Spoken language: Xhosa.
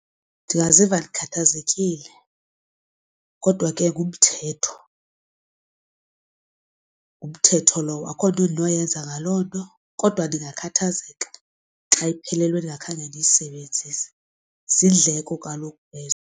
Ndingaziva ndikhathazekile kodwa ke ngumthetho. Ngumthetho lowo akukho nto endinoyenza ngaloo nto kodwa ndingakhathazeka xa iphelelwe ndingakhange ndiyisebenzise, ziindleko kaloku ezo.